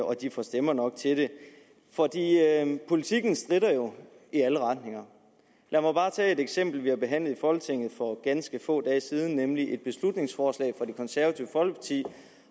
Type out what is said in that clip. og de får stemmer nok til det for politikken stritter jo i alle retninger lad mig bare tage et eksempel vi har behandlet i folketinget for ganske få dage siden nemlig et beslutningsforslag fra det konservative folkeparti